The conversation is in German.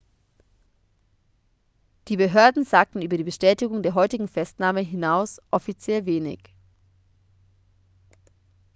die behörden sagten über die bestätigung der heutigen festnahme hinaus offiziell wenig